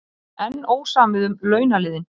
Enn ósamið um launaliðinn